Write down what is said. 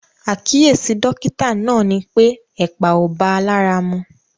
Àkíyèsí dọ́kítà náà ni pé ẹ̀pà ò bá a lára mu.